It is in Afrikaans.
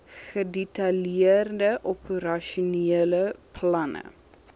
gedetailleerde operasionele planne